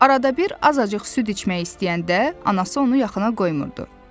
Arada bir azacıq süd içmək istəyəndə anası onu yaxına qoymurdu.